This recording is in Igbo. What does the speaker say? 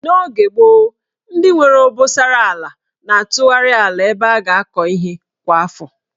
N'oge gboo, ndị nwere obosara ala na-atụgharị ala ebe a ga-akọ ihe kwa afọ.